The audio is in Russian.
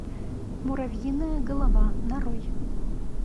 муравьиная голова нарой